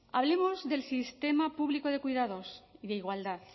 hablemos del sistema público de cuidados y de igualdad